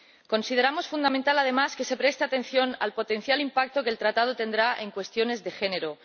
Consideramos fundamental además que se preste atención al potencial impacto que el Acuerdo tendrá en cuestiones de género.